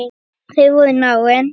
Þau voru náin.